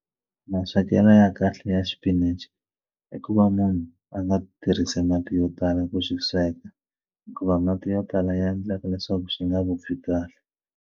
Maswekelo ya kahle ya xipinichi i ku va munhu a nga tirhisi mati yo tala ku xi sweka hikuva mati yo tala ya endleka leswaku xi nga vupfi kahle.